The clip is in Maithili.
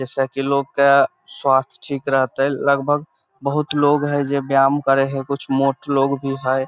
जैसा की लोग के स्वास्थ ठीक रहते लगभग बहुत लोग हय जे व्यायाम करे हय कुछ मोट लोग भी हय।